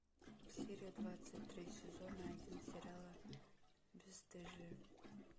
серия двадцать три сезона один сериала бесстыжие